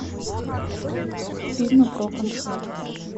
фильм про концерт